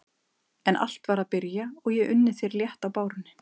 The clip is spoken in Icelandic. En allt var að byrja og ég unni þér létt á bárunni.